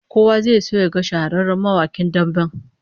Kowa zai so yaga shahararren mawakin damben